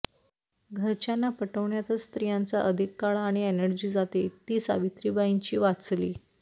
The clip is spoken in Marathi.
घरच्यांना पटवण्यातच स्त्रियांचा अधिक काळ आणि एनर्जी जाते ती सावित्रीबाईंची वाचली